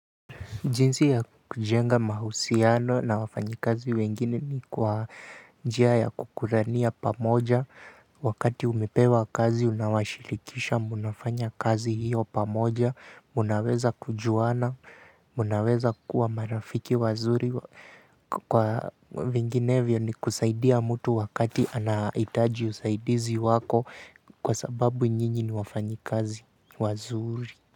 Jinsi ya kujenga mahusiano na wafanyikazi wengine ni kwa njia ya kukulania pamoja wakati umepewa kazi unawashirikisha mnafanya kazi hio pamoja mnaweza kujuana mnaweza kuwa marafiki wazuri kwa vinginevyo ni kusaidia mtu wakati anahitaji usaidizi wako kwa sababu nyinyi ni wafanyikazi wazuri.